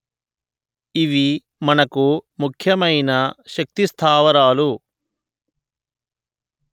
ఇవి మనకు ముఖ్యమైన శక్తి స్థావరాలు